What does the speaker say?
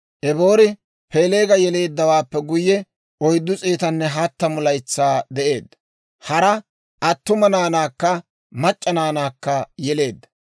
Eboori Peeleega yeleeddawaappe guyye, 430 laytsaa de'eedda; hara attuma naanaakka mac'c'a naanaakka yeleedda.